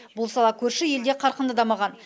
бұл сала көрші елде қарқынды дамыған